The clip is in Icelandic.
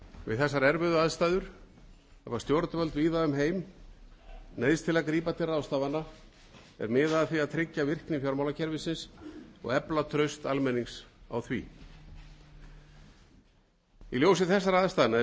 við þessar erfiðu aðstæður hafa stjórnvöld víða um heim neyðst til að grípa til ráðstafana er miða að því að tryggja virkni fjármálakerfisins og efla traust almennings á því í ljósi þessara aðstæðna